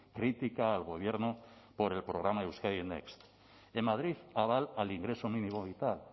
crítica al gobierno por el programa euskadi next en madrid aval al ingreso mínimo vital